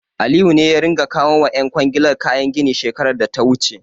Aliyu ne ya ringa kawo wa ƴan kwangilar kayan gini shekarar da ta wuce.